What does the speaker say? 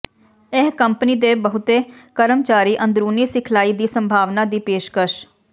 ਇਹ ਕੰਪਨੀ ਦੇ ਬਹੁਤੇ ਆਪਣੇ ਕਰਮਚਾਰੀ ਅੰਦਰੂਨੀ ਸਿਖਲਾਈ ਦੀ ਸੰਭਾਵਨਾ ਦੀ ਪੇਸ਼ਕਸ਼